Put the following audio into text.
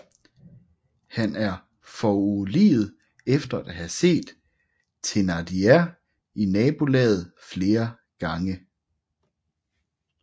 Han er foruroliget efter at have set Thénardier i nabolaget flere gange